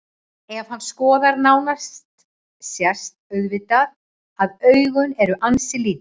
Ef hann skoðar nánar sést auðvitað að augun eru ansi lítil.